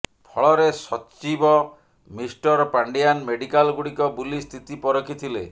ଫଳରେ ସଚିବ ମିଷ୍ଟର ପାଣ୍ଡିଆନ୍ ମେଡିକାଲଗୁଡ଼ିକ ବୁଲି ସ୍ଥିତି ପରିଖିଥିଲେ